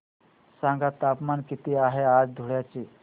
सांगा तापमान किती आहे आज धुळ्याचे